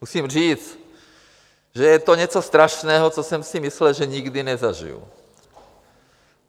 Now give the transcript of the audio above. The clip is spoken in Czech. Musím říct, že je to něco strašného, co jsem si myslel, že nikdy nezažiji.